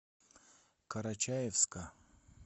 карачаевска